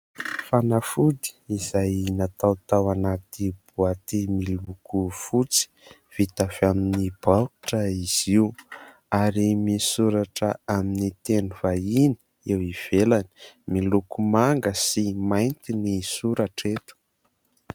Fanafody izay natao tao anaty boaty miloko fotsy, vita avy amin'ny baoritra izy io ary misoratra amin'ny teny vahiny eo ivelany. Miloko manga sy mainty ny soratra eto.